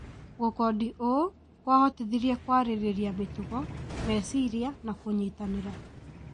Gũkondi ũũ kũahotithirie kũarĩrĩria mĩtugo, meciria na kũnyitanĩra